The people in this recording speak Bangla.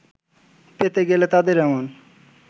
পেতে গেলে তাদের এমন